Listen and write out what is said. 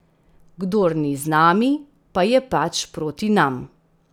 Kdor ni z nami, pa je pač proti nam.